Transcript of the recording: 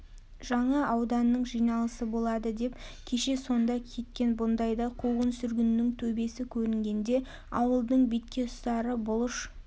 жаңа ауданның жиналысы болады деп кеше сонда кеткен бұндайда қуғын-сүргіннің төбесі көрінгенде ауылдың бетке ұстары бұлыш